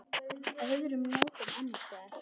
Öðrum nóttum annars staðar?